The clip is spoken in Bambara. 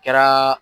Kɛra